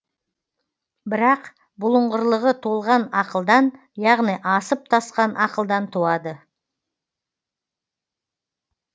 бірақ бұлыңғырлығы толған ақылдан яғни асып тасқан ақылдан туады